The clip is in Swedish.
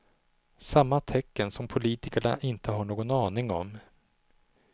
Samma tecken som politikerna inte har någon aning om.